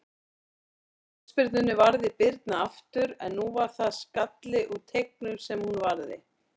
Uppúr hornspyrnunni varði Birna aftur, en nú var það skalli úr teignum sem hún varði.